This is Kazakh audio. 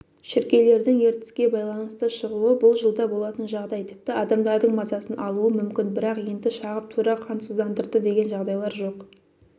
шіркейлердің ертіске байланысты шығуы бұл жылда болатын жағдай тіпті адамдардың мазасын алуы мүмкін бірақ енді шағып тура қансыздандырды деген жағдайлар жоқ